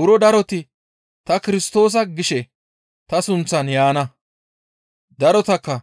Buro daroti, ‹Ta Kirstoosa› gishe ta sunththan yaana; darotakka